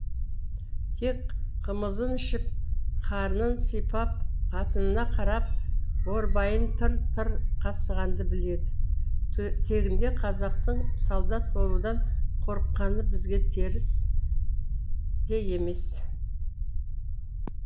тек қымызын ішіп қарнын сипап қатынына қарап борбайын тыр тыр қасығанды біледі тегінде қазақтың солдат болудан қорыққаны бізге теріс те емес